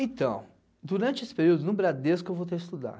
Então, durante esse período, no Bradesco, eu voltei a estudar.